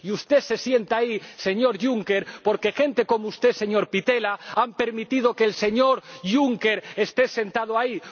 Y usted se sienta ahí, señor Juncker, porque gente como usted, señor Pittella, ha permitido que el señor Juncker esté sentado ahí